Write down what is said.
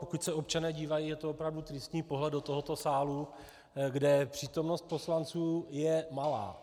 Pokud se občané dívají, je to opravdu tristní pohled do tohoto sálu, kde přítomnost poslanců je malá.